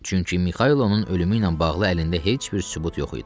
Çünki Mixailin ölümü ilə bağlı əlində heç bir sübut yox idi.